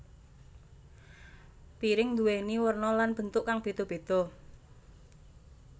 Piring nduwéni werna lan bentuk kang beda beda